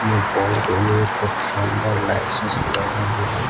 खूब शानदार लाइट से सजाया हुआ है।